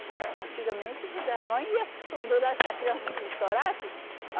Antigamente, as mães iam se esconder lá se a criança chorasse.